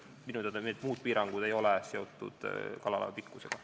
Minu teada need muud piirangud ei ole seotud kalalaeva pikkusega.